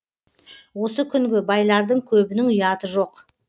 осы күнгі байлардың көбінің ұяты жоқ